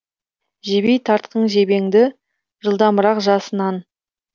жебей тартқын жебеңді жылдамырақ жасыннан